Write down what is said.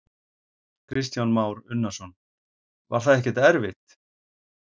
Kristján Már Unnarsson: Var það ekkert erfitt?